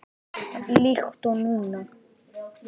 Líkt og núna.